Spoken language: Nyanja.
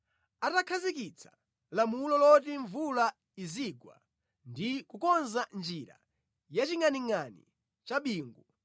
atakhazikitsa lamulo loti mvula izigwa ndi kukonza njira ya chingʼaningʼani cha bingu,